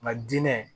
Nka diinɛ